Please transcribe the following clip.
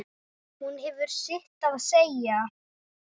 Hún hefur sitt að segja.